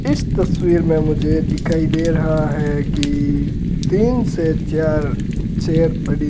इस तस्वीर में मुझे दिखाई दे रहा है कि तीन से चार चेयर पड़ी --